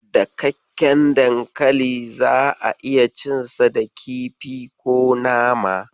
Dakakken dankali za'a iya cinsa da kifi ko nama.